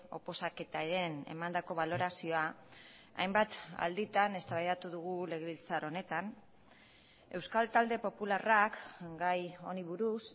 oposaketaren emandako balorazioa hainbat alditan eztabaidatu dugu legebiltzar honetan euskal talde popularrak gai honi buruz